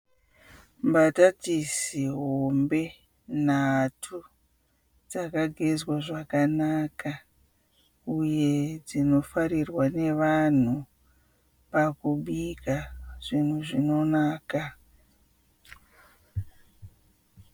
Mbatatisi hombe nhatu dzakagezwa zvakanaka uye dzinofarirwa nevanhu pakubika zvunhu zvinonaka.